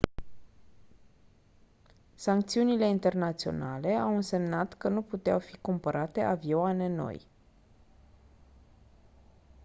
sancțiunile internaționale au însemnat că nu puteau fi cumpărate avioane noi